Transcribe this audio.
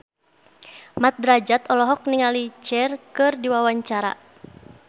Mat Drajat olohok ningali Cher keur diwawancara